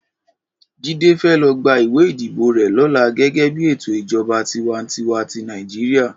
Jide fè lo gbá iwé idibó rè lòlá gègè bi étó ijòbá tiwàntiwá ti Nàijiriá